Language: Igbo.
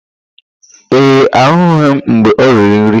Ee, ahụghị m mgbe o riri nri.